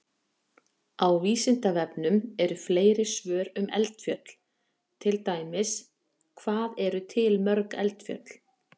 Á Vísindavefnum eru fleiri svör um eldfjöll, til dæmis: Hvað eru til mörg eldfjöll?